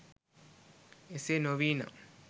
එසේ නොවී නම්